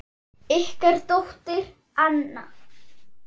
Ykkar dóttir, Anna.